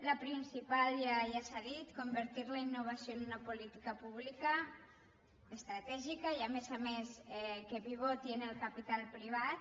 la principal ja s’ha dit convertir la innova·ció en una política pública estratègica i a més a més que pivoti en el capital privat